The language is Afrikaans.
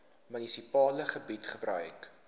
munisipale gebied gebruik